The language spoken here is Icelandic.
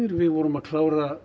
við vorum að klára